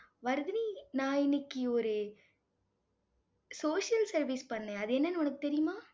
வர்தினி, நான் இன்னைக்கு ஒரு social service பண்ணேன். அது என்னன்னு உனக்கு தெரியுமா